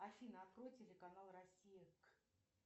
афина открой телеканал россия